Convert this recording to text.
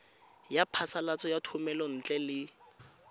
ya phasalatso ya thomelontle le